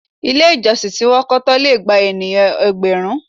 Ilé ìjọsìn tí wọn kọ́ tán lè gba ènìyàn ẹgbẹ̀rún.